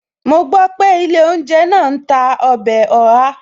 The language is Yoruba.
Mo gbọ́ pé ilé ounje náà ń tà ọbẹ̀ Oha